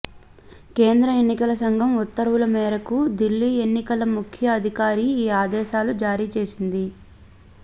కేంద్ర ఎన్నికల సంఘం ఉత్తర్వుల మేరకు దిల్లీ ఎన్నికల ముఖ్య అధికారి ఈ ఆదేశాలు జారీ చేసింది